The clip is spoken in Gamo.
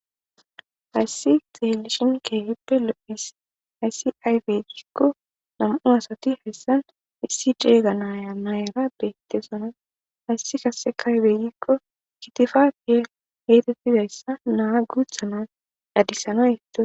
Hayssi xeelishin keehippe lo'his ayssi aybeygikko nam'u asati hessan issi ceeyga naya mayra bettesona hayssi kase kaybeegikko kitifakke geetettidayssa naa guuthana dadisana yetto.